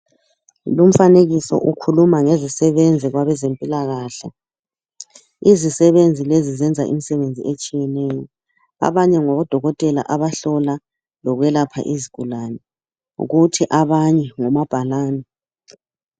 Lumfanekiso ukhuluma ngezisebenzi kwabezempilakahle izisebenzi lezi zenza imsebenzi otshiyeneyo abanye ngodokotela abahlola lokwelapha izigulane kuthi abanye ngomabhalani.